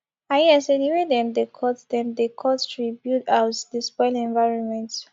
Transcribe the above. i hear sey di wey dem dey cut dem dey cut tree build house dey spoil environment